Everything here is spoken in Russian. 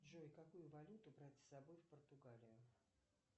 джой какую валюту брать с собой в португалию